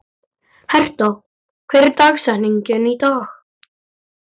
Herta, hver er dagsetningin í dag?